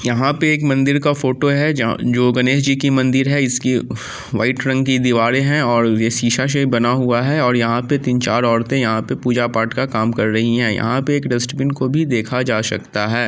यहां पे एक मंदिर का फोटो है जहां जो गणेश जी की मंदिर है इसके व्हाइट रंग की दिवारे है और ये सीसा से बना हुआ है और यहां पे तीन चार औरते यहां पे पूजा पाठ का काम कर रही है यहां पे एक डस्टबीन को भी देखा जा सकता हैं।